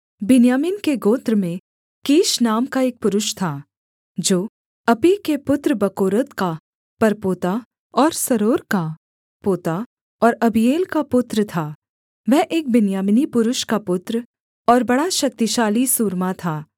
बिन्यामीन के गोत्र में कीश नाम का एक पुरुष था जो अपीह के पुत्र बकोरत का परपोता और सरोर का पोता और अबीएल का पुत्र था वह एक बिन्यामीनी पुरुष का पुत्र और बड़ा शक्तिशाली सूरमा था